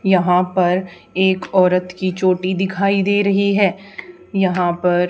यहां पर एक औरत की चोटी दिखाई दे रही है यहां पर--